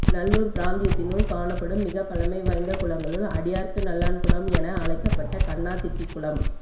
நல்லூர் பிராந்தியத்தினுள் காணப்படும் மிகப்பழமை வாய்ந்த குளங்களுள் அடியார்க்கு நல்லான்குளம் என அழைக்கப்பட்ட கன்னாதிட்டிக்குளம்